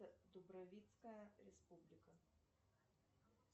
дубровицкая республика